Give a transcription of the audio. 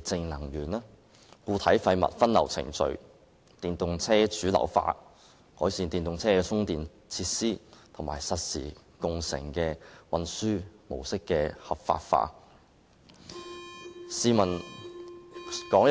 淨能源、固體廢物分流程序、電動車主流化、改善電動車充電設施，以及將實時共乘的運輸模式合法化。